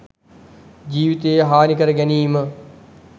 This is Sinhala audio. ජීවිතය හානි කර ගැනීම